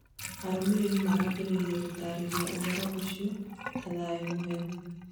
Amuramuri marambirie gũtarĩria ũhoro ũcio ta " Thayũ mũhehu"